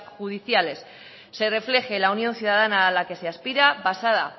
judiciales se refleje la unión ciudadana a la que se aspira basada